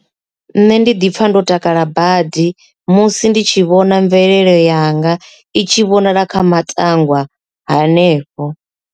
Nṋe ndi ḓi pfha ndo takala badi musi ndi tshi vhona mvelelo yanga i tshi vhonala kha matangwa hanefho.